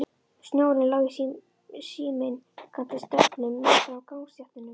Snjórinn lá í síminnkandi sköflum meðfram gangstéttunum.